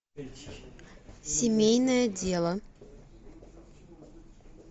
семейное дело